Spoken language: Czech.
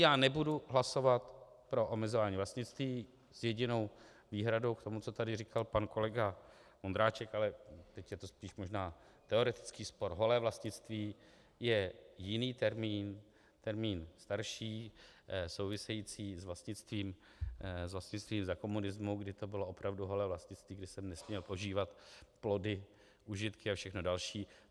Já nebudu hlasovat pro omezování vlastnictví s jedinou výhradou k tomu, co tady říkal pan kolega Vondráček, ale teď je to spíš možná teoretický spor, holé vlastnictví je jiný termín, termín starší související s vlastnictvím za komunismu, kdy to bylo opravdu holé vlastnictví, kdy jsem nesměl požívat plody, užitky a všechno další.